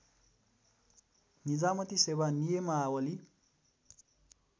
निजामती सेवा नियमावली